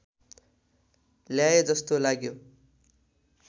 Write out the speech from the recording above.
ल्याए जस्तो लाग्यो